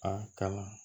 A ka